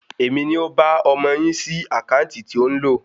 Èmi ni ó ba ọmọ yín sí àkáǹtì tí ó ń lò